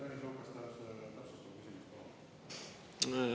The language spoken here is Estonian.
Tõnis Lukas, täpsustav küsimus, palun!